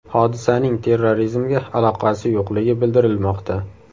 Hodisaning terrorizmga aloqasi yo‘qligi bildirilmoqda.